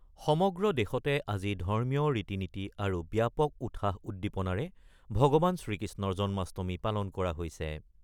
সমগ্ৰ দেশতে আজি ধৰ্মীয় ৰীতি-নীতি আৰু ব্যাপক উৎসাহ-উদ্দীপনাৰ ভগৱান শ্ৰীকৃষ্ণৰ জন্মাষ্টমী পালন কৰা হৈছে।